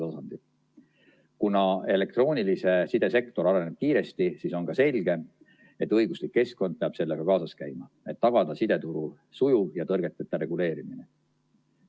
Kuna elektroonilise side sektor areneb kiiresti, siis on ka selge, et õiguslik keskkond peab sellega kaasas käima, et tagada sideturu sujuv ja tõrgeteta reguleerimine.